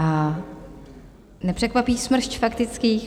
A nepřekvapí smršť faktických.